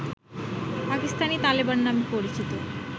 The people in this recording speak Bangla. পাকিস্তানি তালেবান নামে পরিচিত